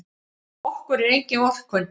Okkur er engin vorkunn.